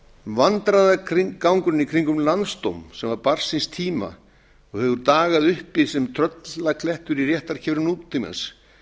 verið sagt vandræðagangurinn í kringum landsdóm sem var barn síns tíma og hefur dagað uppi sem tröllaklettur í réttarkerfi nútímans